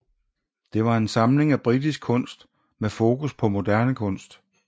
Det var en samling af britisk kunst med fokus på moderne kunst